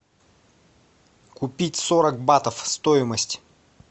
купить сорок батов стоимость